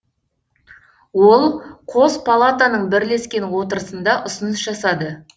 ол қос палатаның бірлескен отырысында ұсыныс жасады